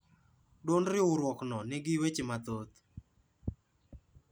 Duond riurwokno ne nigi weche mathoth